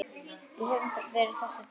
Við höfum verið þessu trú.